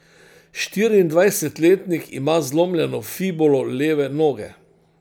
Štiriindvajsetletnik ima zlomljeno fibulo leve noge.